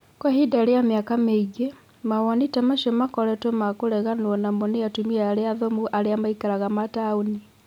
Kwa ihinda rĩa mĩaka mĩingĩ, mawoni ta macio makoretwo ma kĩregano namo mũno nĩ atumia arĩa athomu aria maikaraga ma taũni.